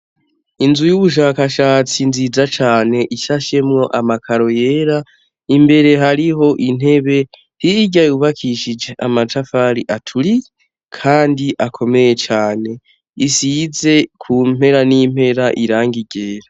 Inzu y'ubushakashatsi nziza cane ishashemwo amakaro yera imbere hariho intebe hirya yubakishije amatafari aturiye kandi akomeye cane. Isize kumperanimpera irangi ryera.